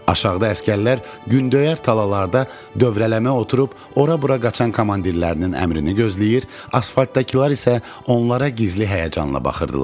Aşağıda əsgərlər gündöyər talalarda dövrələmə oturub ora-bura qaçan komandirlərinin əmrini gözləyir, asfaltdakılar isə onlara gizli həyəcanla baxırdılar.